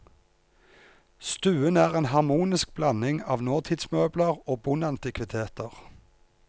Stuen er en harmonisk blanding av nåtidsmøbler og bondeantikviteter.